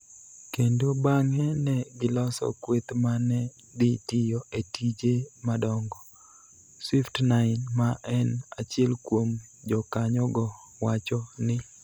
kendo bang�e ne giloso kweth ma ne dhi tiyo e tije madongo, Swift9, ma en achiel kuom jokanyogo wacho ni.